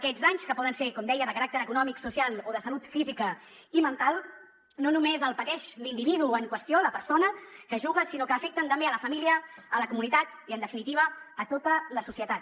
aquests danys que poden ser com deia de caràcter econòmic social o de salut física i mental no només els pateix l’individu en qüestió la persona que juga sinó que afecten també la família la comunitat i en definitiva tota la societat